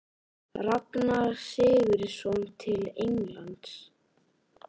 Ragnar Sigurðsson til Englands?